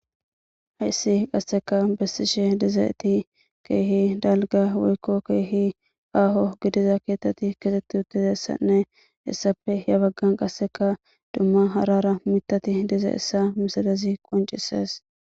hayssi qasseka bessishe dizayti keehi dalga weykko keehi aaho gidiza keetatti kitetti uttizeessanne issafe ya baggan qasseka dumma harara mitati diza issa misadazi qoncises